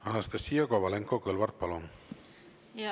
Anastassia Kovalenko-Kõlvart, palun!